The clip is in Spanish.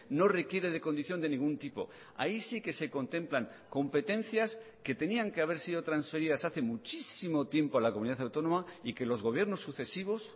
no requiere de condición de ningún tipo ahí sí que se contemplan competencias que tenían que haber sido transferidas hace muchísimo tiempo a la comunidad autónoma y que los gobiernos sucesivos